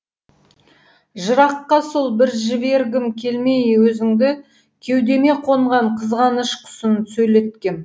жыраққа сол бір жібергім келмей өзіңді кеудеме қонған қызғаныш құсын сөйлеткем